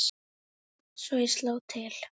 Svo ég sló til.